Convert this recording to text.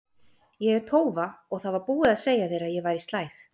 Ég er tófa og það var búið að segja þér að ég væri slæg.